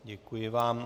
Děkuji vám.